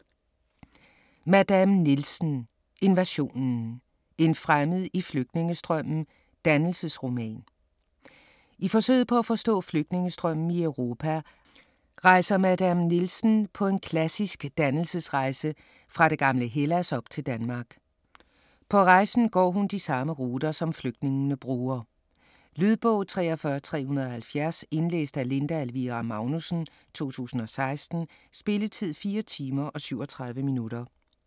Madame Nielsen: Invasionen: en fremmed i flygtningestrømmen: dannelsesroman I forsøget på at forstå flygtningestrømmen i Europa rejser Madame Nielsen på en klassisk dannelsesrejse fra det gamle Hellas op til Danmark. På rejsen går han på de samme ruter, som flygtningene bruger. Lydbog 43370 Indlæst af Linda Elvira Magnussen, 2016. Spilletid: 4 timer, 37 minutter.